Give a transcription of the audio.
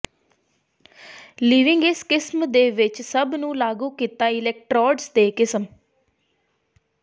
ਿਲਵਿੰਗ ਇਸ ਕਿਸਮ ਦੇ ਵਿੱਚ ਸਭ ਨੂੰ ਲਾਗੂ ਕੀਤਾ ਅਲੈਕਟ੍ਰੋਡਜ਼ ਦੇ ਕਿਸਮ